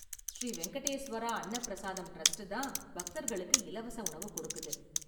Sri Venkateswara Anna Prasadam trust தான் பக்தர்களுக்கு இலவச உணவு கொடுக்குது.